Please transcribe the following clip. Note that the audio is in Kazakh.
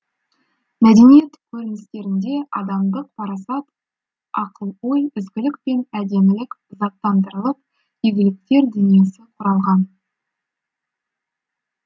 мәдениет көріністерінде адамдық парасат оқыл ой ізгілік пен әдемілік заттандырылып игіліктер дүниесі құралған